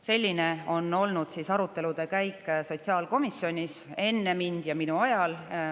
Selline on olnud arutelude käik sotsiaalkomisjonis enne mind ja minu ajal.